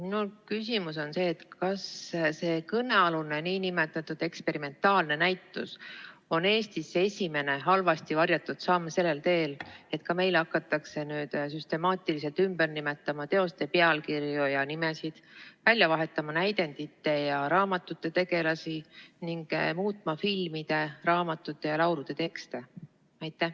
Minu küsimus on: kas see kõnealune nn eksperimentaalne näitus on Eestis esimene halvasti varjatud samm sellel teel, et ka meil hakatakse nüüd süstemaatiliselt ümber nimetama teoste pealkirju ja nimesid, välja vahetama näidendite ja raamatute tegelasi ning muutma filmide, raamatute ja laulude tekste?